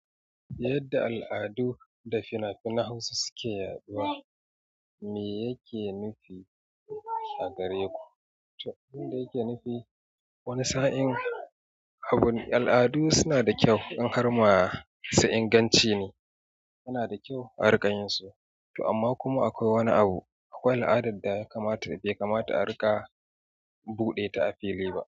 Yadda al'adu da fina-finan Hausa suke yaɗuwa, me yake nufi? Agare ku. Abunda yake nufi wani sa'in abun al'adu suna da kyau in harmasu inganci ne yana da kyau a rika yin su, amma kuma akwai wani abu. Akwai al'adar da ya kamata bai kamata a riƙa buɗe ta a fili ba.